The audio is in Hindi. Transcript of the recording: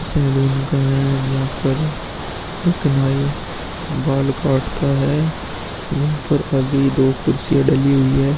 सैलून का है। जहां पर एक नई बाल काटता है। यहां पर अभी दो कुर्सियां डली हुई हैं।